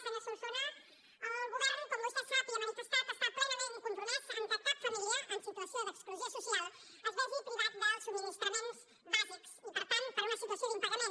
senyor solsona el govern com vostè sap i ha manifestat està plenament compromès que cap família en situació d’exclusió social es vegi privada dels subministraments bàsics i per tant per una situació d’impagament